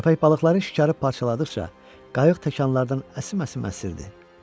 Köpək balıqları şikarı parçaladıqca qayıq təkanlardan əsim-əsim əsirdi.